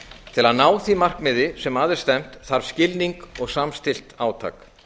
til að ná því markmiði sem að er stefnt þarf skilning og samstillt átak